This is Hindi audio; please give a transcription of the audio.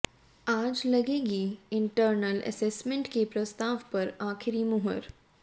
आज लगेगी इंटरनल असेसमेंट के प्रस्ताव पर आखिरी मुहर